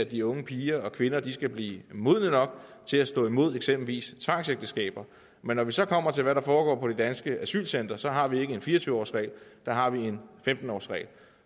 de unge piger og kvinder skal blive modne nok til at stå imod eksempelvis tvangsægteskaber men når vi så kommer til hvad der foregår på de danske asylcentre har vi ikke en fire og tyve årsregel der har vi en femten årsregel